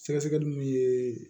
Sɛgɛsɛgɛli min ye